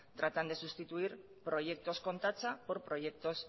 tratan de sustituir proyectos con tacha por proyectos